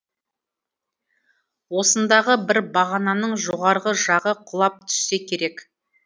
осындағы бір бағананың жоғарғы жағы құлап түссе керек